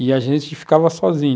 E a gente ficava sozinho.